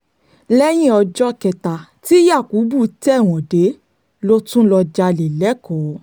lẹ́yìn ọjọ́ kẹta tí yakubu tẹ̀wọ̀n dé ló tún lọ́ọ́ jalè lẹ́kọ̀ọ́